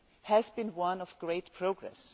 has been one of great progress.